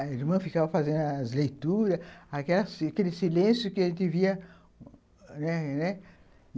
A irmã ficava fazendo as leituras, aquela aquele silêncio que a gente via, né?